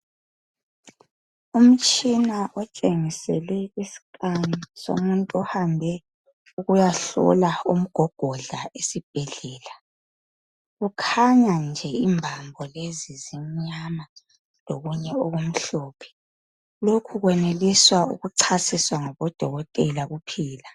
Umtshina otshengisele iscan somuntu ohambe ukuyahlola umgogodla esibhedlela. Kukhanya nje imbambo lezi zimnyama lokunye okumhlophe. Lokhu kweneliswa ukuchasiswa ngabodokotela kuphela.